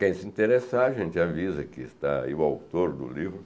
Quem se interessar, a gente avisa que está aí o autor do livro.